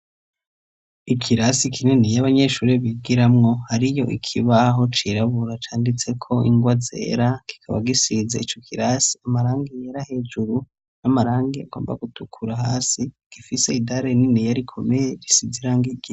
Ikirasi kinini y'abanyeshuri bigiramwo, hariyo ikibaho cirabura canditseko ingwa zera, kikaba gisiza ico kirasi amarangi yera hejuru n'amarangi agomba gutukura hasi gifise idare rininiya rikomeye risiz'irangi rye.